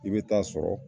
I bɛ taa sɔrɔ